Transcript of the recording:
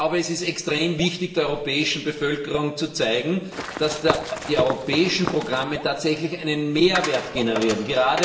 Es ist extrem wichtig, der europäischen Bevölkerung zu zeigen, dass die europäischen Programme tatsächlich einen Mehrwert generieren.